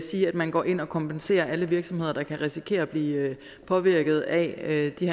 man går ind og kompenserer alle virksomheder der kan risikere at blive påvirket af de